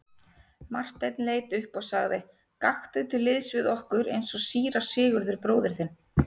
Marteinn leit upp og sagði:-Gakktu til liðs við okkur eins og síra Sigurður bróðir þinn.